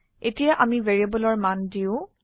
এতিয়া আমি ভ্যাৰিয়েবলৰ মান দিও